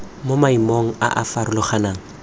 mo maemong a a farologaneng